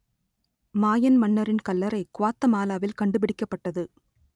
மாயன் மன்னரின் கல்லறை குவாத்தமாலாவில் கண்டுபிடிக்கப்பட்டது